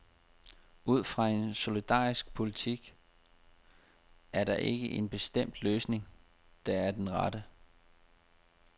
Ud fra en solidarisk politik er der ikke en bestemt løsning, der er den rette.